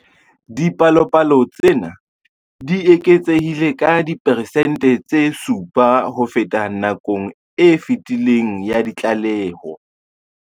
Dipalopalo tsena di eketsehile ka diperesente tse 7 ho feta nakong e fetileng ya ditlaleho.